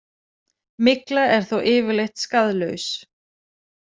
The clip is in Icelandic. Mygla er þó yfirleitt skaðlaus.